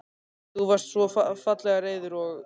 Þú varst svo fallega reiður og.